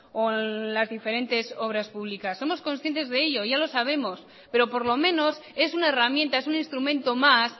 o en las diferentes obras públicas somos conscientes de ello ya lo sabemos pero por lo menos es una herramienta es un instrumento más